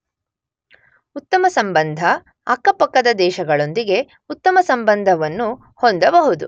ಉತ್ತಮ ಸಂಬಂಧ , ಅಕ್ಕ ಪಕ್ಕದ ದೇಶಗಳೊಂದಿಗೆ ಉತ್ತಮ ಸಂಬಂಧವನ್ನು ಹೊಂದಬಹುದು.